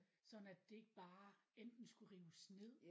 Sådan at det ikke bare enten skulle rives ned